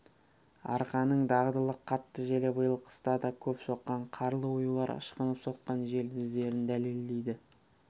арқаның дағдылы қатты желі биыл қыста да көп соққан қарлы оюлар ышқынып соққан жел іздерін дәлелдейді